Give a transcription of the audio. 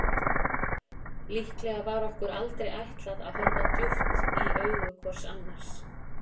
Líklega var okkur aldrei ætlað að horfa djúpt í augu hvort annars.